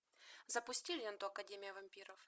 запусти ленту академия вампиров